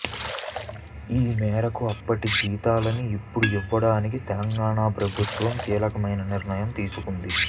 ఈమేరకు అప్పటి జీతాలను ఇప్పుడు ఇవ్వడానికి తెలంగాణ ప్రభుత్వం కీలకమైన నిర్ణయాన్ని తీసుకుంది